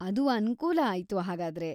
ಅದು ಅನುಕೂಲ ಆಯ್ತು ಹಾಗಾದ್ರೆ.